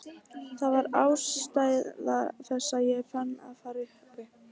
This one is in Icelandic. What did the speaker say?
Það var aðalástæða þess að ég ákvað að fara í Hauka.